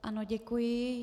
Ano, děkuji.